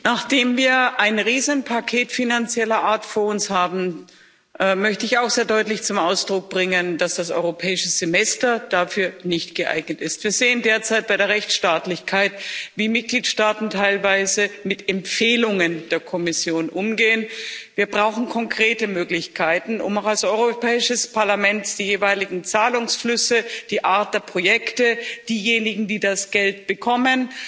Nachdem wir ein Riesenpaket finanzieller Art vor uns haben, möchte ich auch sehr deutlich zum Ausdruck bringen, dass das Europäische Semester dafür nicht geeignet ist. Wir sehen derzeit bei der Rechtsstaatlichkeit, wie Mitgliedsstaaten teilweise mit Empfehlungen der Kommission umgehen. Wir brauchen konkrete Möglichkeiten, um auch als Europäisches Parlament die jeweiligen Zahlungsflüsse, die Art der Projekte, diejenigen, die das Geld bekommen,